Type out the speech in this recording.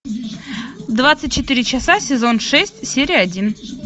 двадцать четыре часа сезон шесть серия один